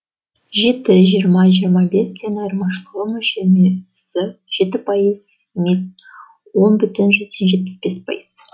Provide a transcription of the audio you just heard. жеті жиырма жиырма бес тен айырмашылығы мөлшерлемесі жеті пайыз емес он бүтін жүзден жетпіс бес пайыз